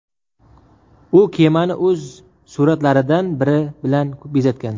U kemani o‘z suratlaridan biri bilan bezatgan.